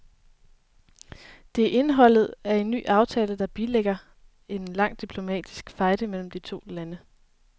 Det er indholdet af en ny aftale, der bilægger en lang diplomatisk fejde mellem de to lande.